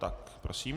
Tak prosím.